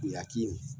Kuyaki